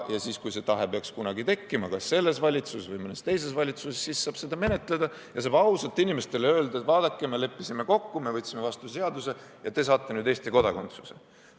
Ja siis, kui see tahe peaks kunagi tekkima, kas selles valitsuses või mõnes teises valitsuses, siis saab seda menetleda ja saab ausalt inimestele öelda, et vaadake, me leppisime kokku, me võtsime vastu seaduse ja te saate nüüd Eesti kodakondsuse.